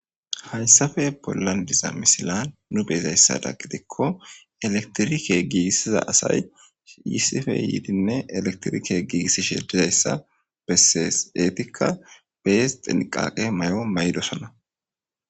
hayssafe bollan diza misilan nu beezayssada gidikko eletirike gigisiza asay issife yiidinne elektirike giigissishe dizayssa bessees eetikka bees xinqaqe mayo mayidosana